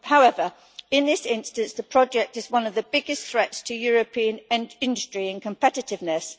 However, in this instance, the project is one of the biggest threats to European industry and competitiveness.